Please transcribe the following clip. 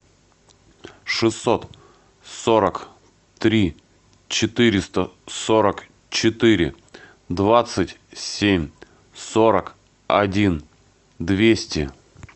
шестьсот сорок три четыреста сорок четыре двадцать семь сорок один двести